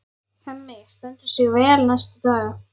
Hemmi stendur sig vel næstu daga.